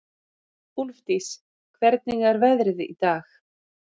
Úlfdís, hvernig er veðrið í dag?